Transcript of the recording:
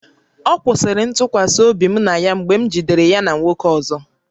Ọ kwụsịrị ntụkwasị obi m na ya mgbe m na nwoke ọzọ jidere ya